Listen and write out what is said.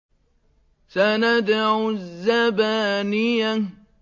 سَنَدْعُ الزَّبَانِيَةَ